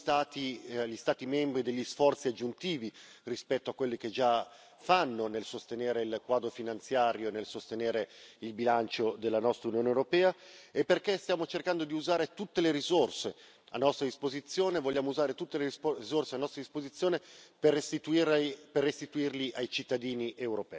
Sostenibile perché non chiediamo agli Stati membri degli sforzi aggiuntivi rispetto a quelli che già fanno nel sostenere il quadro finanziario e nel sostenere il bilancio della nostra Unione europea, e perché stiamo cercando di usare tutte le risorse a nostra disposizione, vogliamo usare tutte le risorse a nostra disposizione per restituirle